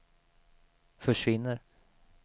försvinner